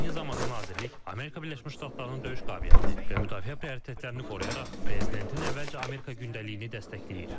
Eyni zamanda, nazirlik Amerika Birləşmiş Ştatlarının döyüş qabiliyyətini və müdafiə prioritetlərini qoruyaraq, prezidentin əvvəlcə Amerika gündəliyini dəstəkləyir.